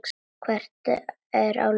Hver er á lífi?